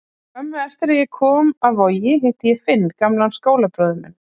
Skömmu eftir að ég kom af Vogi hitti ég Finn, gamlan skólabróður minn.